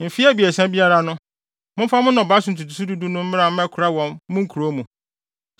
Mfe abiɛsa biara awiei no, momfa mo nnɔbae so ntotoso du du no mmra mmɛkora wɔ mo nkurow mu,